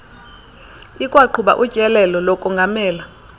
ikwaqhuba utyelelo lokongamela